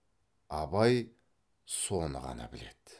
абай соны ғана біледі